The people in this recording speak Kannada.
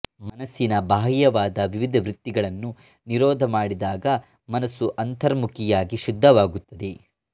ಮನಸ್ಸಿನ ಬಾಹ್ಯವಾದ ವಿವಿಧ ವೃತ್ತಿಗಳನ್ನು ನಿರೋಧಮಾಡಿದಾಗ ಮನಸ್ಸು ಅಂತರ್ಮುಖಿಯಾಗಿ ಶುದ್ಢವಾಗುತ್ತದೆ